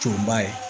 Tonba ye